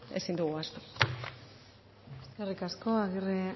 ezin dugu ahaztu eskerrik asko agirre